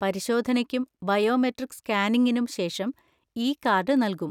പരിശോധനയ്ക്കും ബയോമെട്രിക് സ്കാനിംഗിനും ശേഷം ഇ കാർഡ് നൽകും.